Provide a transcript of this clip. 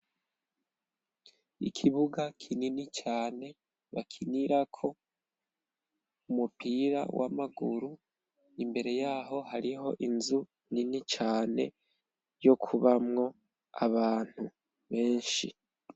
Ikibuga kinini cane bakinirako umupira w'amaguru, imbere yaho hariho inzu nini cane, yo kubamwo abantu benshi.